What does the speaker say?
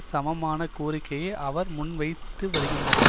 சமமான கோரிக்கையை அவர் முன்வைத்து வருகின்றனர்